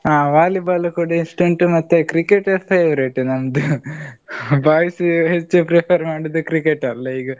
ಆ Volleyball ಕೂಡ ಇಷ್ಟ ಉಂಟ್ ಮತ್ತೆ Cricket favorite ನಂದು . boys ಹೆಚ್ಚು prefer ಮಾಡುದ್ cricket ಅಲ್ಲಾ ಈಗ.